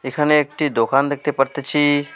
এখানে একটি দোকান দেখতে পারতেছি।